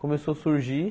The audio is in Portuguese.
Começou a surgir.